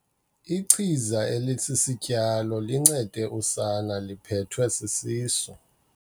Ichiza elisisityalo lincede usana liphethwe sisisu.